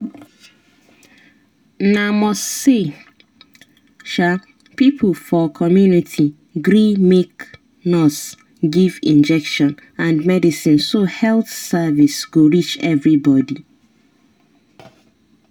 na must say um people for community gree make nurse give injection and medicine so health service go reach everybody.